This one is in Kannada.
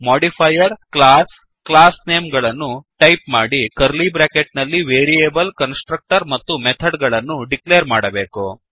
ಮಾಡಿಫೈಯರ್ - ಕ್ಲಾಸ್ -classname ಗಳನ್ನು ಟೈಪ್ ಮಾಡಿ ಕರ್ಲೀ ಬ್ರ್ಯಾಕೆಟ್ ನಲ್ಲಿ ವೇರಿಯೇಬಲ್ ಕನ್ಸ್ ಟ್ರಕ್ಟರ್ ಮತ್ತು ಮೆಥಡ್ ಗಳ ಡಿಕ್ಲೇರ್ ಮಾಡಬೇಕು